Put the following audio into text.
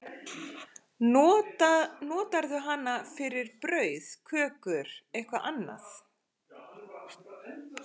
Notarðu hana fyrir brauð, kökur, eitthvað annað?